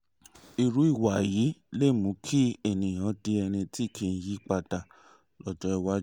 irú ìwà yìí lè mú kéèyàn di ẹni tí kì í yí padà lọ́jọ́ iwájú